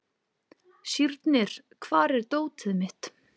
Sírnir, hvar er dótið mitt?